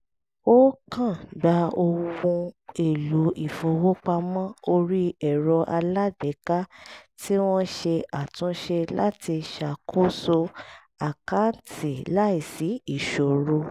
ó kàn gba ohun èlò ìfowópamọ́ orí ẹ̀rọ alágbèéká tí wọ́n ṣe àtúnṣe láti ṣakoso àkáǹtì láìsí ìṣòro